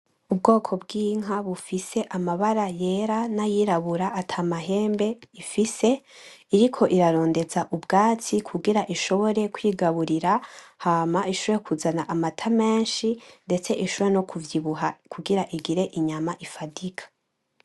Ubwoko bw’inka bufise amabara y'era n'ayirabura atamahembe ifise iriko irarondeza ubwatsi kugira ishobore kwigaburira hama ishobore kuzana amata menshi ndetse ishobore no kuvyibuha kugira igire inyama ifadika.